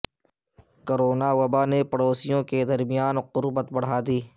corona وبا نے پڑوسیوں کے درمیان قربت بڑھا دی